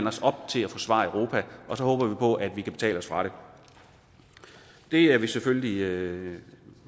os op til at forsvare europa og så håber vi på at vi kan betale os fra det det er vi selvfølgelig